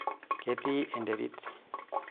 Ketii enterit.